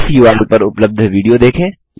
इस उर्ल पर उपलब्ध विडियो देखें